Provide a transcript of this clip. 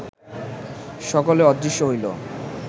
সকলে অদৃশ্য হইল